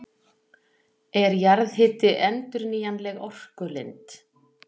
Er jarðhiti endurnýjanleg orkulind?